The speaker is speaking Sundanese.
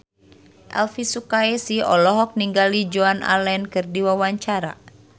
Elvi Sukaesih olohok ningali Joan Allen keur diwawancara